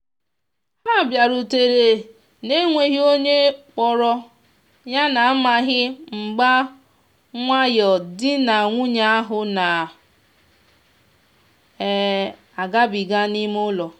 ha biarutere na-enweghi onye kporo yana amaghi mgba nwayo di na nwunye ahu na um agabiga n'ime ụlọ.